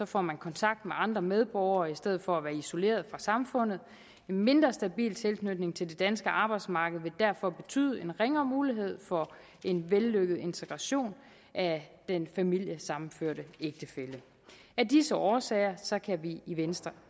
får man kontakt med andre medborgere i stedet for at være isoleret fra samfundet en mindre stabil tilknytning til det danske arbejdsmarked vil derfor betyde en ringere mulighed for en vellykket integration af den familiesammenførte ægtefælle af disse årsager kan vi i venstre